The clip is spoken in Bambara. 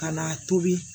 Ka na a tobi